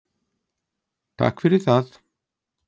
Takk fyrir það!